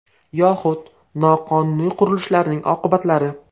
Yoxud noqonuniy qurilishlarning oqibatlari.